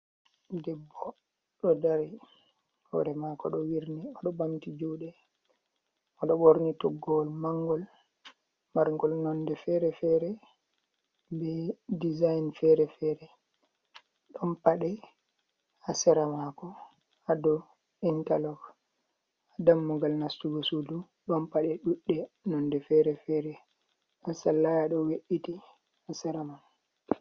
Debbo do dari hore mako do wirni odo bamti jude mo do borni toggowol mangol margol nonde fere-fere ,be dezign fere-fere don pade hasera mako hado intarlog ha dammugal nastugo sudu don pade dudde nonde fere-fere da sallaya do we’iti hasera man.